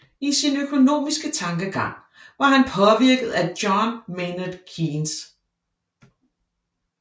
I sin økonomiske tankegang var han påvirket af John Maynard Keynes